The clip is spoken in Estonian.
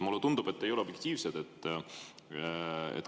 Mulle tundub, et te ei ole objektiivne.